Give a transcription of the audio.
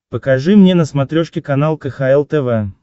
покажи мне на смотрешке канал кхл тв